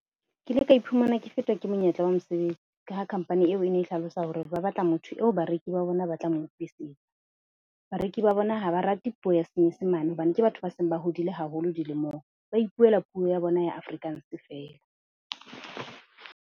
Ke ile ka iphumana ke fetwa ke monyetla wa mosebetsi. Ka ha company eo e ne e hlalosa hore ba batla motho eo bareki ba bona ba tla mo utlwisisa. Bareki ba bona ha ba rate puo ya Senyesemane hobane ke batho ba seng ba hodile haholo dilemong, ba ipuela puo ya bona ya Afrikaans feela.